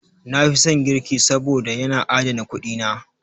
Na fi son girki saboda, yana adana kuɗi na.